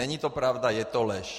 Není to pravda, je to lež.